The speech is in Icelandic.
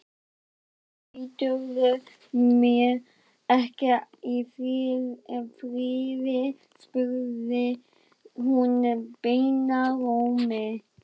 Af hverju læturðu mig ekki í friði? spurði hún bænarrómi.